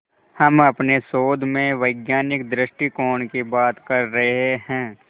हम अपने शोध में वैज्ञानिक दृष्टिकोण की बात कर रहे हैं